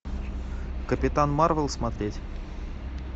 капитан марвел смотреть